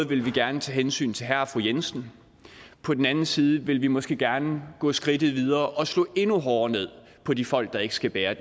vil vi gerne tage hensyn til herre og fru jensen på den anden side vil vi måske gerne gå skridtet videre og slå endnu hårdere ned på de folk der ikke skal bære